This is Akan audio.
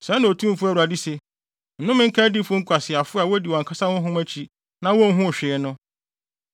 Sɛɛ na Otumfo Awurade se: Nnome nka adiyifo nkwaseafo a wodi wɔn ankasa honhom akyi na wonhuu hwee no.